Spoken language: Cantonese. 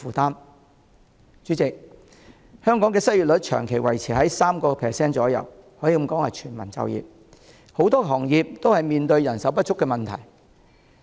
代理主席，香港的失業率長期維持約 3%， 可以說是全民就業，很多行業都面對人手不足的問題。